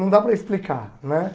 Não dá para explicar, né?